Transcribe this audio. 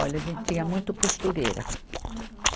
Olha, a gente tinha muito costureira. Uhum